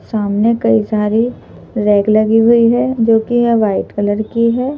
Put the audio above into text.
सामने कई सारी रैक लगी हुई हैजो कि य वाइट कलर की है।